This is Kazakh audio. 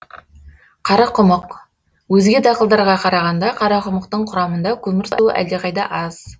қарақұмық өзге дақылдарға қарағанда қарақұмықтың құрамында көмірсу әлдеқайда аз